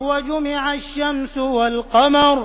وَجُمِعَ الشَّمْسُ وَالْقَمَرُ